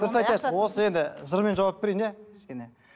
дұрыс айтасыз осы енді жырмен жауап берейін иә кішкене